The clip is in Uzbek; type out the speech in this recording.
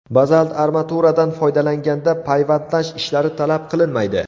Bazalt armaturadan foydalanganda payvandlash ishlari talab qilinmaydi.